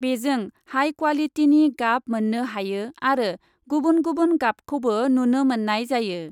बेजों हाइ क्वालिटिनि गाब मोन्नो हायो आरो गुबुन गुबुन गाबखौबो नुनो मोन्नाय जायो ।